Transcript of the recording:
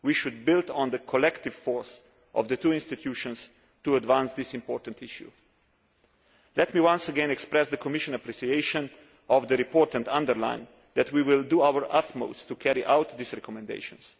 We should build on the collective force of the two institutions to advance this important issue. Let me once again express the Commission's appreciation of the report and underline that we will do our utmost to carry out these recommendations.